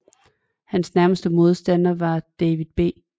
Hans nærmeste modstander var David B